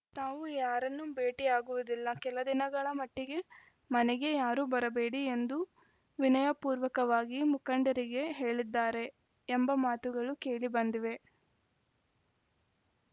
ತಾವು ಯಾರನ್ನೂ ಭೇಟಿಯಾಗುವುದಿಲ್ಲ ಕೆಲ ದಿನಗಳ ಮಟ್ಟಿಗೆ ಮನೆಗೆ ಯಾರೂ ಬರಬೇಡಿ ಎಂದು ವಿನಯಪೂರ್ವಕವಾಗಿ ಮುಖಂಡರಿಗೆ ಹೇಳಿದ್ದಾರೆ ಎಂಬ ಮಾತುಗಳು ಕೇಳಿಬಂದಿವೆ